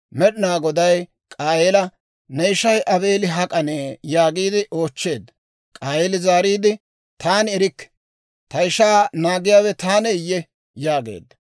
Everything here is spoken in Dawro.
Med'inaa Goday K'aayeela, «Ne ishay Aabeeli hak'anee?» yaagiide oochcheedda. K'aayeeli zaariide, «Taani erikke; ta ishaa naagiyaawe taaneeyye?» yaageedda.